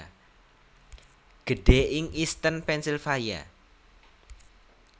Gedhé ing Easton Pennsylvaia